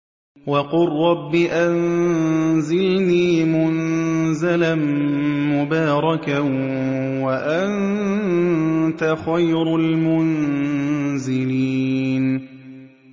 وَقُل رَّبِّ أَنزِلْنِي مُنزَلًا مُّبَارَكًا وَأَنتَ خَيْرُ الْمُنزِلِينَ